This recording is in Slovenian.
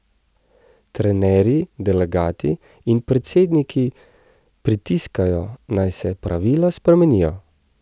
Trenerji, delegati in predsedniki pritiskajo, naj se pravila spremenijo.